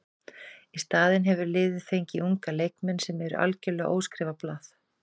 Í staðinn hefur liðið fengið unga leikmenn sem eru algjörlega óskrifað blað.